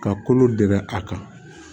Ka kolo gɛrɛ a kan